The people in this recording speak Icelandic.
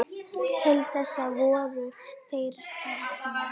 Til þess voru þeir hérna.